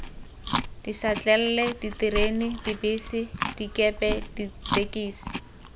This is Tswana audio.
dišatlelle diterena dibese dikepe ditekisi